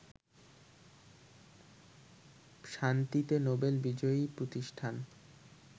শান্তিতে নোবেল বিজয়ী প্রতিষ্ঠান